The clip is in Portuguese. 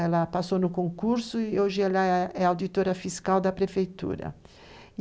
Ela passou no concurso e hoje ela é auditora fiscal da prefeitura.